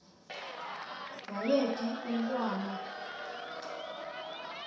kwaye phi umntwana